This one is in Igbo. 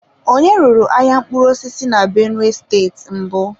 Onye ruru ahịa mkpụrụ osisi na benue steeti mbụ?